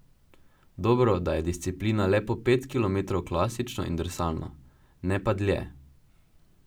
Dobro, da je disciplina le po pet kilometrov klasično in drsalno, ne pa dlje.